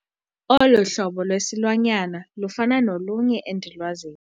Olo hlobo lwesilwanyana lufana nolunye endilwaziyo.